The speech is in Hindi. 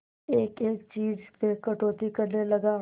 एक एक चीज में कटौती करने लगा